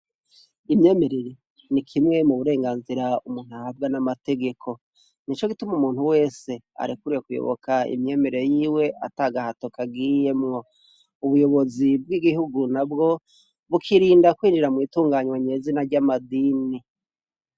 Imyemerere ,ni kimwe mu burenganzira umuntu ahabwa n'amategeko ,nico gituma umuntu wese arekuriwe kuyoboka imyemerere yiwe atagahato kagiyemwo ubuyobozi bw'igihugu nabwo ,bukirinda kwinjira mw’itunganywa nyezina ry'amadini.